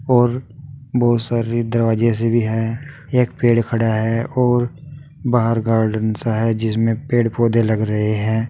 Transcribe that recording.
और बहुत सारी दरवाजे से भी हैं एक पेड़ खड़ा है और बाहर गार्डन सा है जिसमें पेड़ पौधे लग रहे हैं।